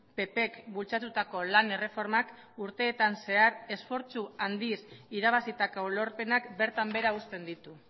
ppk bultzatutako lan erreformak urteetan zehar esfortzu handiz irabazitako lorpenak bertan behera uzten ditu